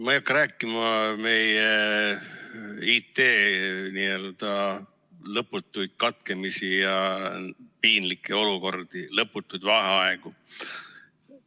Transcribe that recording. Ma ei hakka rääkima meie IT-ühenduste lõpututest katkemistest ja piinlikest olukordadest, lõpututest vaheaegadest.